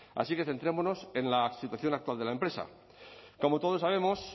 así que centrémonos en la situación actual de la empresa como todos sabemos